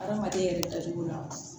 Adamaden yɛrɛ dacogo la